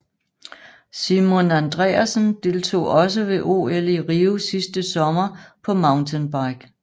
Simon Andreassen deltog også ved OL i Rio sidste sommer på mountainbike